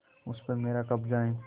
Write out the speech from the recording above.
उस पर मेरा कब्जा है